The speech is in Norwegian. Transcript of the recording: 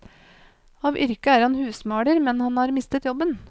Av yrke er han husmaler, men han har mistet jobben.